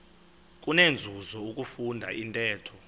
kunenzuzo ukufunda intetho